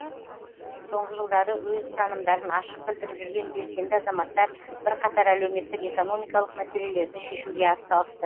соңғы жылдары өз ұстанымдарын ашық білдіріп жүрген белсенді азаматтар бірқатар әлеуметтік экономикалық мәселелерді шешуге атсалысты